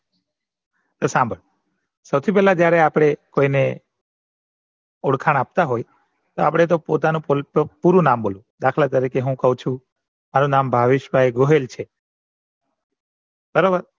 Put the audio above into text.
તો સંભાળ સૌથી પેલા જયારે આપણે કોઈને ઓળખાણ આપતા હોય તો આપડે તો પોતાનું પૂરું નામ બોલવાનું દાખલા તરીકે હું કહું છું કે મારું નામ ભાવેશભાઈ ગોહિલ બરાબર